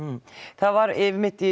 það var einmitt